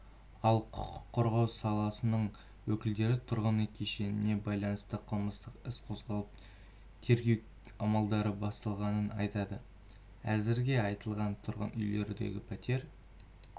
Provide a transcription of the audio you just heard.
ал құқық қорғау саласының өкілдері тұрғын үй кешеніне байланысты қылмыстық іс қозғалып тергеу амалдары басталғанын айтады әзірге аталған тұрғын үйлерден пәтер